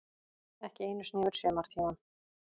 Ekki einu sinni yfir sumartímann.